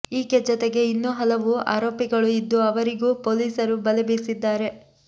ಈಕೆ ಜೊತೆಗೆ ಇನ್ನೂ ಹಲವು ಆರೋಪಿಗಳು ಇದ್ದು ಅವರಿಗೂ ಪೊಲೀಸರು ಬಲೆ ಬೀಸಿದ್ದಾರೆ